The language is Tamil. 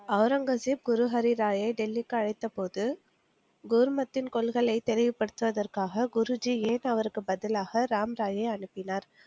ஒளரங்கசீப் குருஹரிராயை டெல்லிக்கு அழைத்தபோது, கோர்மத்தின் கொள்கைகளை தெரிய படுத்துவதற்காக குருஜி ஏன் அவருக்கு பதிலாக ராம்ராயை அனுப்பினார்